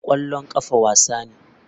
Kwallon kafa wasa ne.